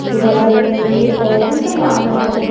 बगल में भी और भी समान है।